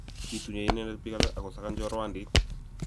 kituye inende biik alak akusakan chorwandit